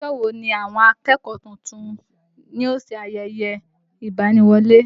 Ọjọ́ wo ni àwọn akẹ́kọ̀ọ́ tuntun yóò ṣe ayẹyẹ ìgbani-wọlé?